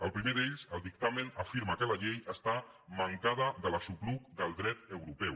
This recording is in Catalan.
el primer d’ells el dictamen afirma que la llei està mancada de l’aixopluc del dret europeu